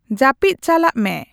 ᱡᱟᱹᱯᱤᱫ ᱪᱟᱞᱟᱜ ᱢᱮ